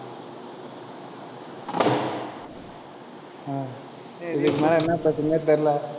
அஹ் இதுக்கு மேல என்ன பேசுறதுனே தெரியல